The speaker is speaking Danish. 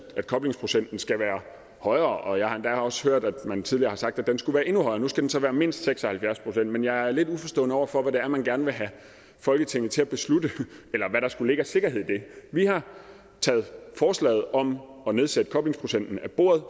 koblingsprocenten skal være højere og jeg har endda også hørt at man tidligere har sagt at den skulle være endnu højere nu skal den så være mindst seks og halvfjerds procent men jeg er lidt uforstående over for hvad det er man gerne vil have folketinget til at beslutte eller hvad der skulle ligge af sikkerhed i det vi har taget forslaget om at nedsætte koblingsprocenten af bordet